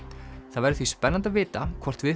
það verður því spennandi að vita hvort við